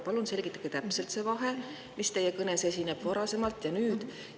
Palun selgitage täpselt seda vahet teie varasemalt ja nüüd.